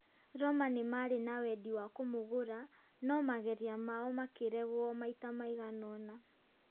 Roma nĩ marĩ na wendi wa kũmũgũra no mageria mao makĩregwo maita maigana ona